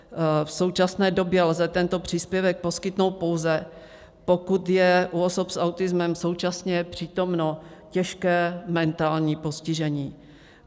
V současné době lze tento příspěvek poskytnout pouze, pokud je u osob s autismem současně přítomno těžké mentální postižení.